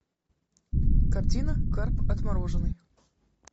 картина карп отмороженный